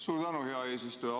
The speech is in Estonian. Suur tänu, hea eesistuja!